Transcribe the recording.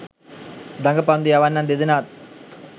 දඟ පන්දු යවන්නන් දෙදෙනාත්